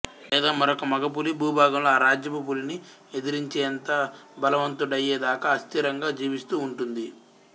లేదా మరొక మగపులి భూభాగంలో ఆ రాజ్యపు పులిని ఎదిరించేంత బలవంతుడయ్యే దాకా అస్థిరంగా జీవిస్తూ ఉంటుంది